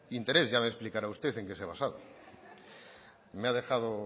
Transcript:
interés ya me explicará usted en qué se ha basado me ha dejado